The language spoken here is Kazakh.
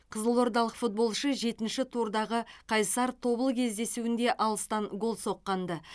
қызылордалық футболшы жетінші турдағы қайсар тобыл кездесуінде алыстан гол соққан ды